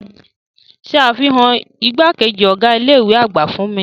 Ṣe afihan igbakeji ọga ile-iwe agba fun mi!